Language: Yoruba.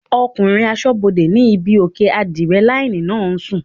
Ọkùnrin asọ́bodè ní ibí òkè ádírẹ́láínì náà ń sùn